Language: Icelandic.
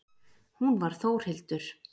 Hún var Þórhildur.